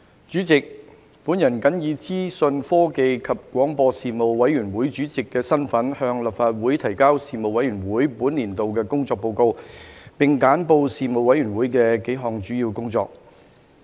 主席，我謹以資訊科技及廣播事務委員會主席的身份，向立法會提交事務委員會本年度的工作報告，並簡報事務委員會幾項主要工作。